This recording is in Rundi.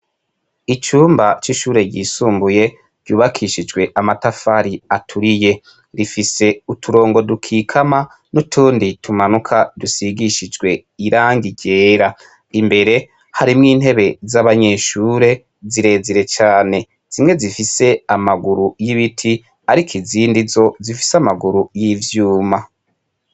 Icumba ry'ishure ryisumbuye ryubakishijwe amatafari aturiye, rufise uturongo dukikama n'utundi tumanuka dusigishijwe irangi ryera, imbere harimwo intebe z'abanyeshure zirezire cane, zimwe zifise amaguru y'ibiti ariko izindi zo zifise amaguru y'ivyuma.